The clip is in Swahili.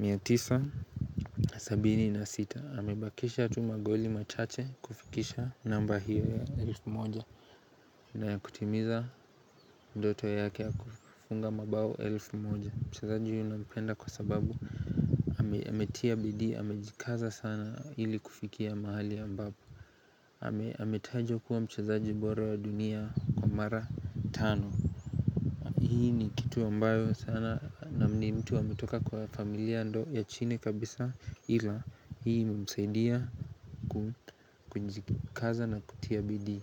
976 amebakisha tu magoli machache kufikisha namba hiyo ya elfu moja na kutimiza Ndoto yake ya kufunga mabao elfu moja. Mchezaji huyu nampenda kwa sababu ametia bidii, amejikaza sana ili kufikia mahali ambapo ametajwa kuwa mchezaji bora wa dunia kwa mara tano Hii ni kitu ambayo sana na ni mtu ametoka kwa familia ndo ya chini kabisa ila Hii humusaidia kujikaza na kutia bidii.